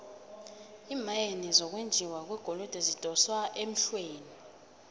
iimayini zokwenjiwa kwegolide zidosa emhlweni